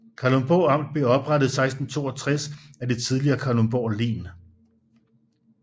Kalundborg Amt blev oprettet i 1662 af det tidligere Kalundborg Len